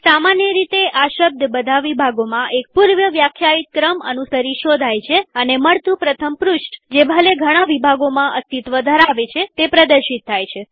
સામાન્ય રીતે આ શબ્દબધા વિભાગોમાં એક પૂર્વવ્યાખ્યાયિત ક્રમ અનુસરી શોધાય છેઅને મળતું પ્રથમ પૃષ્ઠજે ભલે ઘણા વિભાગોમાં અસ્તિત્વ ધરાવે તે પ્રદર્શિત થાય છે